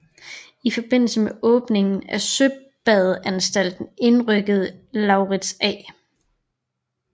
I forbindelse med åbningen af søbadeanstalten indrykkede Laurids A